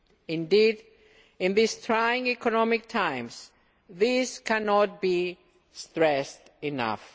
Indeed, in these trying economic times, these cannot be stressed enough.